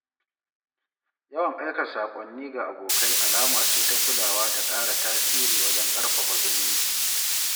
Yawan aika saƙonni ga abokai alama ce ta kulawa da ƙara tasiri wajen karfafa zumunci.